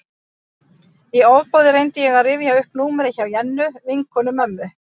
Í ofboði reyndi ég að rifja upp númerið hjá Jennu, vinkonu mömmu.